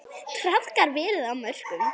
Traðkað verið á mörkum.